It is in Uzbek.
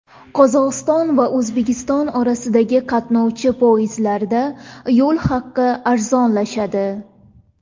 Qozog‘iston va O‘zbekiston orasida qatnovchi poyezdlarda yo‘l haqi arzonlashadi.